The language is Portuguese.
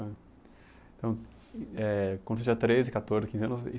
Então eh, quando você tinha treze, quatorze, quinze anos